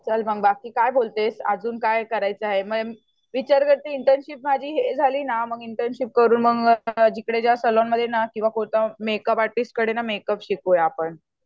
चल मग बाकी काय बोलतेस अजून काय करायचं आहे विचार करते इंटर्नशिप माझी हे झाली ना इंटर्नशिप करून मग जिकडे ज्या सलोनमध्ये ना मेकअप आर्टिस्टकडे मेकअप शिकूया आपण